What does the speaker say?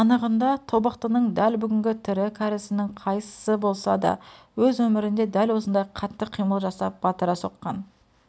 анығында тобықтының дәл бүгінгі тірі кәрісінің қайсысы болса да өз өмірінде дәл осындай қатты қимыл жасап батыра соққан